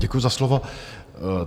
Děkuji za slovo.